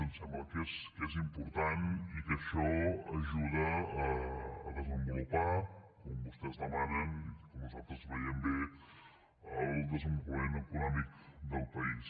ens sembla que és important i que això ajuda a desenvolupar com vostès demanen i nosaltres ho veiem bé el desenvolupament econòmic del país